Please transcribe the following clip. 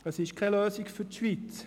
Es ist keine Lösung für die Schweiz.